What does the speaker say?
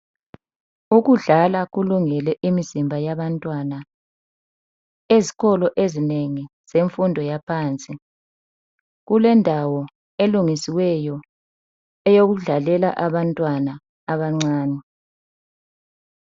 Ukudlala kulungele imizimba yabantwana. Ezikolo ezinengi zemfundo yaphansi. Kulendawo elungisiweyo, yokudlalela abantwana abancane.